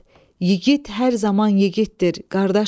Yigit hər zaman yigitdir, qardaşım.